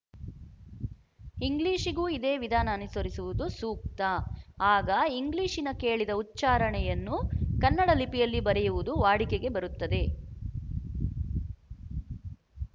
ಇಂಗ್ಲಿಶಿಗೂ ಇದೇ ವಿಧಾನ ಅನುಸರಿಸುವುದು ಸೂಕ್ತ ಆಗ ಇಂಗ್ಲಿಶಿನ ಕೇಳಿದ ಉಚ್ಚಾರಣೆ ಯನ್ನು ಕನ್ನಡ ಲಿಪಿಯಲ್ಲಿ ಬರೆಯುವುದು ವಾಡಿಕೆಗೆ ಬರುತ್ತದೆ